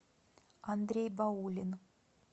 андрей баулин